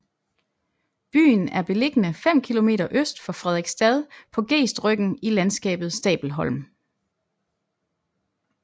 Byen er beliggende fem kilometer øst for Frederiksstad på gestryggen i landskabet Stabelholm